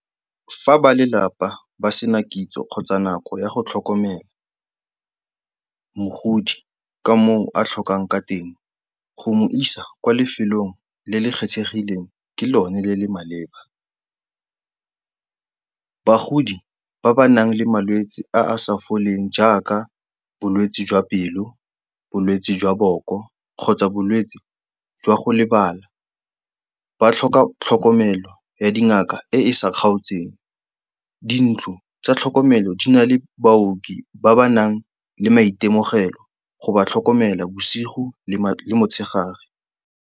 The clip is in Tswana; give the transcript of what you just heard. Fa ba lelapa ba sena kitso kgotsa nako ya go tlhokomela mogodi ka moo a tlhokang ka teng, go mo isa kwa lefelong le le kgethegileng ke lone le le maleba. Bagodi ba ba nang le malwetsi a a sa foleng jaaka bolwetsi jwa pelo, bolwetsi jwa boko kgotsa bolwetsi jwa go lebala, ba tlhoka tlhokomelo ya dingaka e e sa kgaotseng. Dintlo tsa tlhokomelo di na le baoki ba ba nang le maitemogelo go ba tlhokomela bosigo le motshegare.